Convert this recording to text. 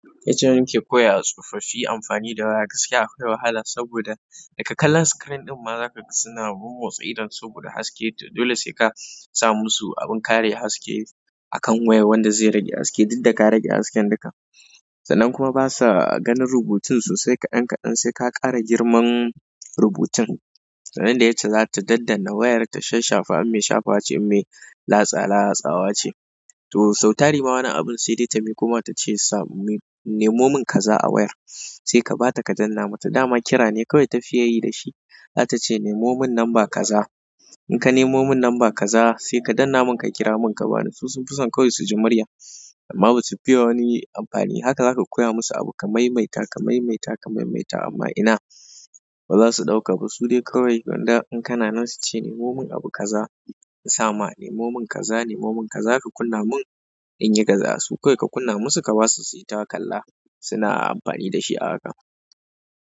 Yacca muke koyawa tsofaffi amfani da waya gaskia akwai wahala saboda daga kallon screen ɗinma zakaga suna mammotsa idonsu sabodahaske to dole sai ka sa musu abin kare haske a kan wayar wanda zai rage haske duk da ka rage hasken duka. Sannan kuma basa ganin rubutun sosai ka ɗan ka ɗan sai ka ƙara girman rubutun. Sannan dai ita zata daddana wayar ta sha shafa. Me shafa ce, me latsa latsawa ce. To sau tari ma wani abun sai dai ta miƙo mata ce ta ce sa "Nemo mun kaza a wayar." Sai ka bata ka danna mata dama kira ne kawai ta fiye yi da shi. Zata ce "Nemo mun namba kaza." In ka nemo mun namba kaza sai ka danne mun ka kira mun ka bani. Su sun fi son kawai su ji murya amma basu fiye wani amfani. Haka za ka koya musu abu ka maimaita, ka maimaita, ka maimaita amma ina ba za su ɗauka ba. Su dai kawai gwanda in kana nan su ce "Nemo mun abu kaza." In sama "Nemo mun kaza, nemo mun kaza ka kunna mun inyi kaza." Su kawai ka kunna musu ka wasu su yi takalla suna amfani da shi a haka.